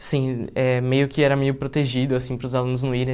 Assim eh, meio que era meio protegido, assim, para os alunos não irem.